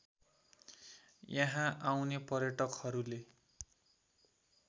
यहाँ आउने पर्यटकहरूले